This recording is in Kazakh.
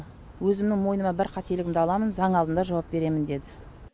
өзімнің мойныма бар қателігімді аламын заң алдында жауап беремін деді